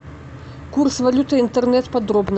курс валюты интернет подробно